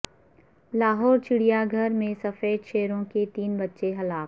لاہور چڑیا گھر میں سفید شیروں کے تین بچے ہلاک